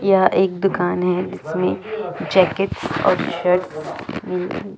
यहाँ एक दुकान है जिसमे जैकेट और शर्ट मिल--